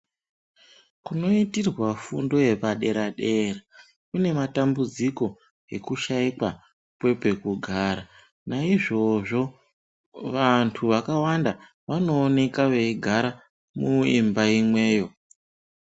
Kunoitirwa fundo yepadera-dera kunematambudziko ekushaikwa kwepekugara. Naizvozvo vantu vakawanda vanooneka veigara muimba imweyo.